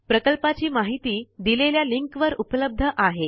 प्रकल्पाची माहिती दिलेल्या लिंक वर उपलब्ध आहे